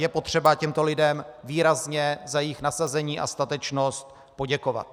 Je potřeba těmto lidem výrazně za jejich nasazení a statečnost poděkovat.